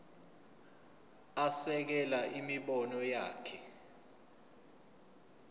asekele imibono yakhe